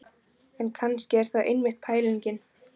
En kannski er það einmitt pælingin.